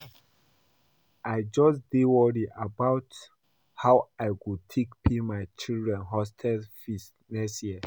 I just dey worry about how I go take pay my children hostel fees next year